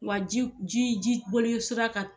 Wa ji ji ji boli sira ka